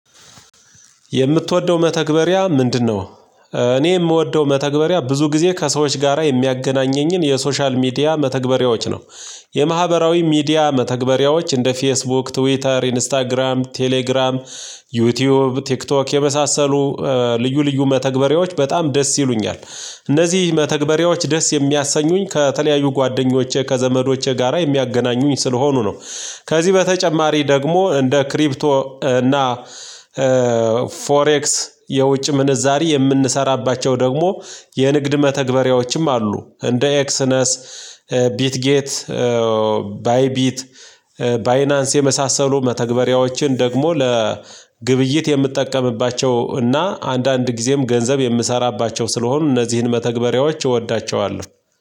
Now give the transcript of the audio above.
የምትወደው መተግበሪያ ምንድነው? እኔ የምወደው መተግበሪያ ብዙ ጊዜ ከሰዎች ጋራ የሚያገናኘኝን የሶሻል ሚዲያ መተግበሪያዎች ነው። የማህበራዊ ሚዲያ መተግበሪያዎች እንደ ፌስቡክ ትዊተር ኢንስታግራም ቴሌግራም። ዩቲዩብ ቲክቶክ የመሳሰሉ ልዩ ልዩ መተግበሪያዎች በጣም ደስ ይሉኛል። እነዚህ መተግበሪያዎች ደስ የሚያሰኙኝ ከተለያዩ ጓደኞቼ ከዘመዶቼ ጋራ የሚያገናኙኝ ስለሆኑ ነው። ከዚህ በተጨማሪ ደግሞ እንደ ክሪፕቶ እና ፎሬክስ የውጭ ምንዛሬ የምንሰራባቸው ደግሞ የንግድ መተግበሪያዎችም አሉ እንደ ኤክስነስ። ቢት ጌት ባይ ቢት ባይናንስ የመሳሰሉ መተግበሪያዎችን ደግሞ ለግብይት የምጠቀምባቸው እና አንዳንድ ጊዜም ገንዘብ የምሰራባቸው ስለሆኑ እነዚህን መተግበሪያዎች እወዳቸዋለሁ።